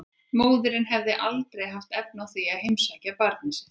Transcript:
Móðirin hefði aldrei haft efni á því að heimsækja barnið sitt.